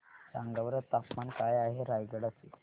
सांगा बरं तापमान काय आहे रायगडा चे